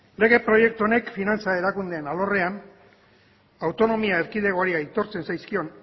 lege proiektu honek finantza erakundeen alorrean autonomia erkidegoari aitortzen zaizkion